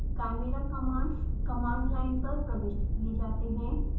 chimera commands command line पर प्रविष्ट किये जाते हैं